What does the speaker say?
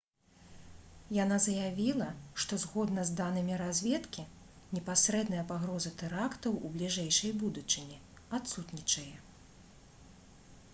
яна заявіла што «згодна з данымі разведкі непасрэдная пагроза тэрактаў у бліжэйшай будучыні адсутнічае»